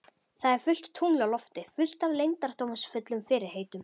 Það er fullt tungl á lofti, fullt af leyndardómsfullum fyrirheitum.